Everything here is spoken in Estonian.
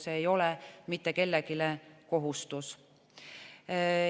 See ei ole mitte kellelegi kohustus.